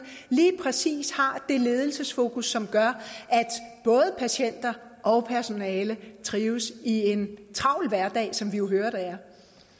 lige præcis har det ledelsesfokus som gør at både patienter og personale trives i en travl hverdag som vi jo hører der